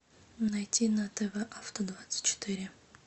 найти на тв авто двадцать четыре